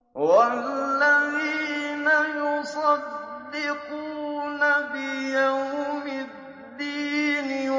وَالَّذِينَ يُصَدِّقُونَ بِيَوْمِ الدِّينِ